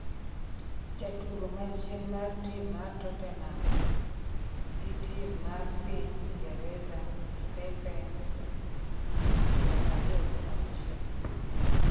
jatugo ma chien mar tim mar totenam gi tim mar piny Ingreza stefen ,higni piero ariyo gi auchiel